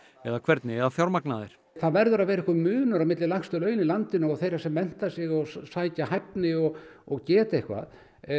eða hvernig eigi að fjármagna þær það verður að vera einhver munur milli lægstu launa í landinu og þeirra sem mennta sig og sækja hæfni og og geta eitthvað